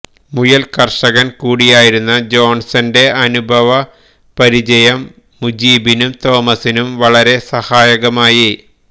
മുയൽ കർഷകൻ കൂടിയായിരുന്ന ജോൺസന്റെ അനുഭവ പരിചയം മുജീബിനും തോമസിനും വളരെ സഹായകമായി